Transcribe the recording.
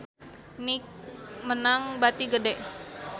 Nike meunang bati gede